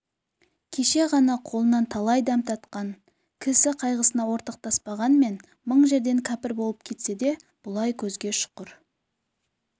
кеше ғана қолынан талай дәм татқан кс қайғысына ортақтаспағанмен мың жерден кәпір болып кетсе де бұлай көзге шұқыр